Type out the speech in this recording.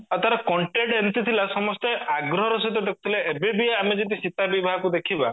ଆଉ ତାର content ଏମତି ଥିଲା ସମସ୍ତେ ଆଗ୍ରହର ସହିତ ଦେଖୁଥିଲେ ଏବେ ବି ଆମେ ଯଦି ସୀତା ବିବାହକୁ ଦେଖିବା